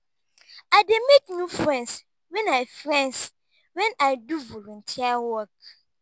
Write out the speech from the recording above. i dey make new friends wen i friends wen i do volunteer work.